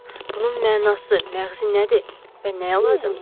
Bunun mənası, məğzi nədir və nəyə lazımdır?